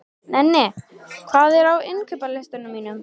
Nenni, hvað er á innkaupalistanum mínum?